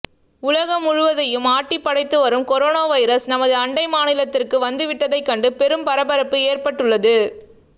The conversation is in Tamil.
உலகம் முழுவதையும் ஆட்டிப்படைத்து வரும் கொரோனா வைரஸ் நமது அண்டை மாநிலத்திற்கு வந்து விட்டதை கண்டு பெரும் பரபரப்பு ஏற்பட்டுள்ளது